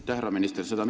Aitäh, härra minister!